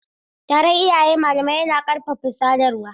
Taron iyaye-malamai yana ƙarfafa sadarwa